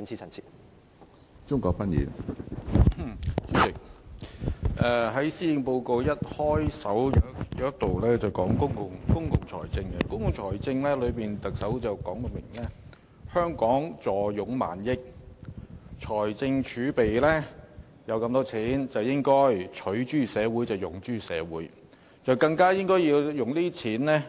主席，施政報告開首部分提到公共財政，特首明言香港坐擁過萬億港元的財政儲備，應該"取諸社會、用諸社會"，更應該利用儲備